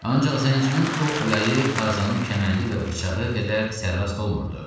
Ancaq zənginin ox yayı Tarzanın kəməndi və bıçağı qədər sərrast olmurdu.